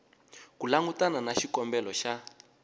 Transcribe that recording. ku langutana na xikombelo xa